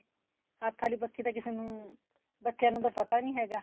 ਹੱਥ ਆਲੀ ਪੱਖੀ ਤਾਂ ਕਿਸੇ ਨੂੰ ਬੱਚਿਆ ਨੂੰ ਤਾਂ ਪਤਾ ਨਹੀਂ ਹੈਗਾ